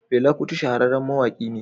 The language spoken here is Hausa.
Fela Kuti shahararren mawaki ne.